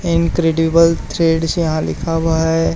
Incredible threads यहां लिखा हुआ है।